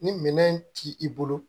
Ni minɛn ti i bolo